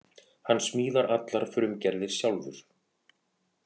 Hann smíðar allar frumgerðir sjálfur